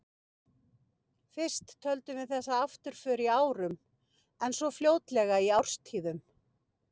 Fyrst töldum við þessa afturför í árum, en svo fljótlega í árstíðum.